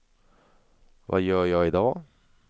vad gör jag idag